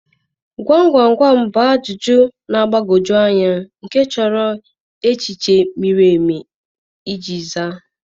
Gwam gwam gwam bụ ajụjụ na-agbagwoju anya nke chọrọ echiche miri emi iji zaa.